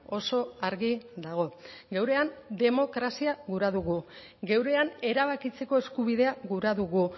oso argi dago geurean demokrazia gura dugu geurean erabakitzeko eskubidea gura dugu